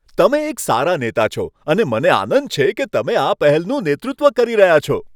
તમે એક સારા નેતા છો અને મને આનંદ છે કે તમે આ પહેલનું નેતૃત્વ કરી રહ્યા છો.